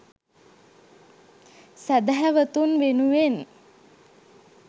සැදැහැවතුන් වෙනුවෙන්